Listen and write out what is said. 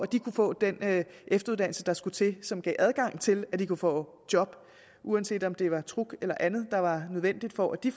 de kunne få den efteruddannelse der skulle til og som gav adgang til at de kunne få job uanset om det var et truckkort eller andet der var nødvendigt for at de